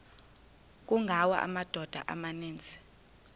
kungawa amadoda amaninzi